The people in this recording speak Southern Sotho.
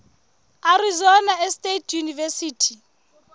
arizona state university